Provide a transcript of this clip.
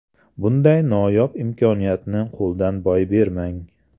Bunday noyob imkoniyatni qo‘ldan boy bermang!